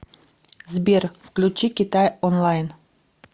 сбер включи китай онлайн